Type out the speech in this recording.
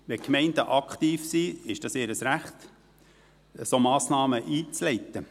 Wenn Gemeinden aktiv sind, ist es ihr Recht, solche Massnahmen einzuleiten.